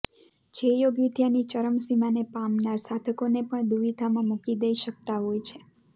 જે યોગવિદ્યાની ચરમસીમાને પામનાર સાધકોને પણ દુવિધામાં મૂકી દઈ શકતા હોય છે